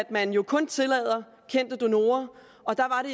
man jo kun tillader kendte donorer og der var det